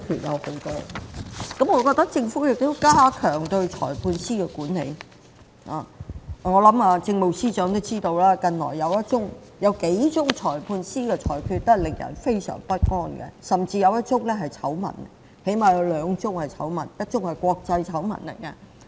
我認為政府應加強對裁判官的管理，我想政務司司長也知道，近年有幾宗裁判官的裁決非常令人不安，甚至有兩宗是醜聞，一宗更是國際醜聞。